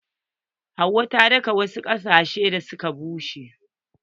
Hauwa ta taka wasu gilashin da suka pashe.